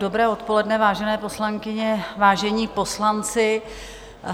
Dobré odpoledne, vážené poslankyně, vážení poslanci.